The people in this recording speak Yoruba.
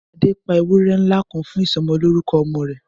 Adé pa ewúré ńlá kan fún isọmọlúrúkọ ọmọ rẹ̀